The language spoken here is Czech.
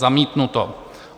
Zamítnuto.